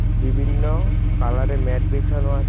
বিভিন্ন কালারে ম্যাট বিছানো আছে .